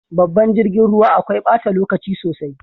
Babban jirgin ruwa akwai bata lokaci sosai.